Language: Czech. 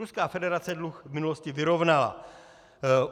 Ruská federace dluh v minulosti vyrovnala.